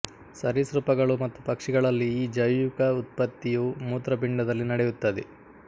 ಸರೀಸೃಪಗಳು ಮತ್ತು ಪಕ್ಷಿಗಳಲ್ಲಿ ಈ ಜೈವಿಕ ಉತ್ಪತ್ತಿಯು ಮೂತೃಪಿಂಡದಲ್ಲಿ ನಡೆಯುತ್ತದೆ